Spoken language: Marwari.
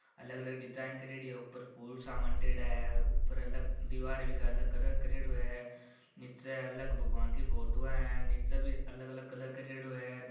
अलग अलग डिजाइन करियोड़ी है ऊपर फुल सा मांडयोडा है ऊपर अलग दिवारे भी अलग कलर करियोड़ो है नीचे अलग भगवान की फोटो वा है नीचे भी अलग अलग कलर करियोडो हेर।